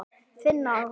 Þinn, Aron.